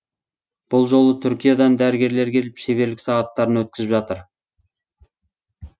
бұл жолы түркиядан дәрігерлер келіп шеберлік сағаттарын өткізіп жатыр